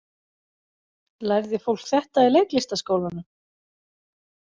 Lærði fólk þetta í leiklistarskólanum?